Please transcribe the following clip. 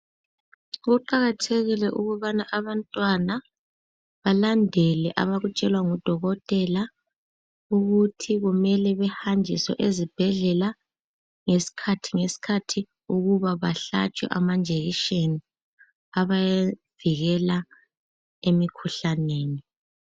Kuqakathekile ukubana abantwana balandele abakutshelwa ngudokotela ukuthi kumele behanjiswe ezibhedlela ngesikhathi ngesikhathi ukuba bahlatshwe amajekiseni abavikela emikhuhlaneni.